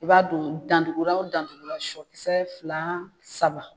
I b'a don danduguraw o dandugura sɔ kisɛ fila saba